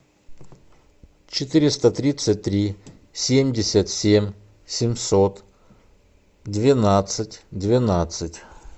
четыреста тридцать три семьдесят семь семьсот двенадцать двенадцать